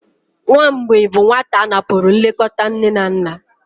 Nwa mgbei bụ nwata a napụrụ nlekọta nne na nna.